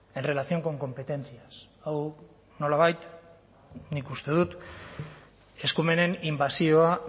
en relación con competencias hau nolabait nik uste dut eskumenen inbasioa